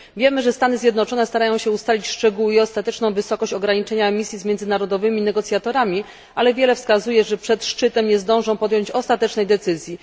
Wiemy, że Stany Zjednoczone starają się ustalić szczegóły i ostateczną wysokość ograniczenia emisji z międzynarodowymi negocjatorami, ale wiele wskazuje, że przed szczytem nie zdążą podjąć ostatecznej decyzji.